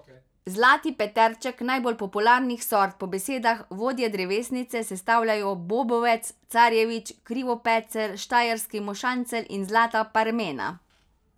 Zlati peterček najbolj popularnih sort po besedah vodje drevesnice sestavljajo bobovec, carjevič, krivopecelj, štajerski mošancelj in zlata parmena.